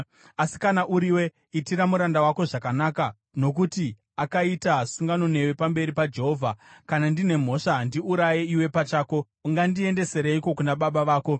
Asi kana uriwe, itira muranda wako zvakanaka, nokuti akaita sungano newe pamberi paJehovha. Kana ndine mhosva, ndiuraye iwe pachako! Ungandiendesereiko kuna baba vako?”